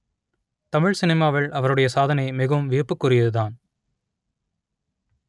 தமிழ் சினிமாவில் அவருடைய சாதனை மிகவும் வியப்புக்குரியது தான்